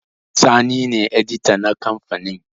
Sani ne edita na kamfanin